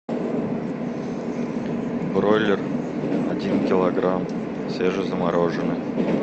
бройлер один килограмм свежезамороженный